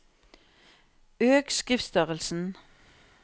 Øk skriftstørrelsen